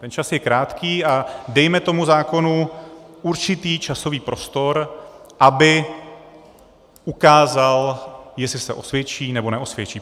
Ten čas je krátký a dejme tomu zákonu určitý časový prostor, aby ukázal, jestli se osvědčí, nebo neosvědčí.